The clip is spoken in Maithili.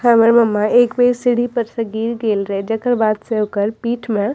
हमर मम्मा एक बेर सीढ़ी पर से गिर गइल रहे जेकर बाद से ओकर पीठ में --